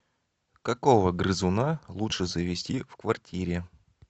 какого грызуна лучше завести в квартире